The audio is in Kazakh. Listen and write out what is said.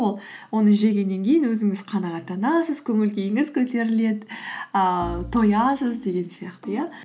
ол оны жегеннен кейін өзіңіз қанағаттанасыз көңіл күйіңіз көтеріледі ііі тоясыз деген сияқты иә